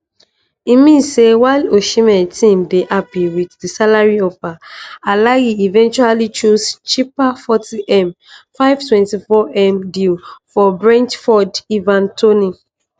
e mean say while osimhen team dey happy wit di salary offer alahli eventually choose cheaper 40m 524m deal for brentford ivan toney